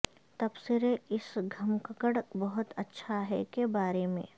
تبصرے اس گھمککڑ بہت اچھا ہے کے بارے میں